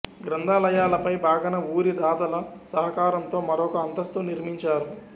గ్రంథాలయ పై భాగాన ఊరి ధాతల సహకారంతో మరోక అంతస్తు నిర్మించారు